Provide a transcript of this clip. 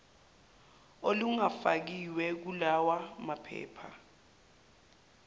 olungafakiwe kulawa maphepha